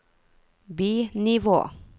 bi-nivå